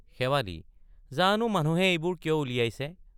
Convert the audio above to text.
শেৱালি জানো মানুহে এইবোৰ কিয় উলিয়াইছে।